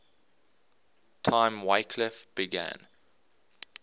time wycliffe began